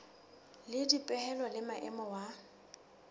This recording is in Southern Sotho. le dipehelo le maemo wa